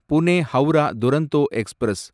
Pune Howrah Duronto express